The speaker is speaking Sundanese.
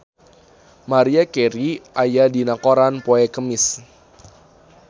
Maria Carey aya dina koran poe Kemis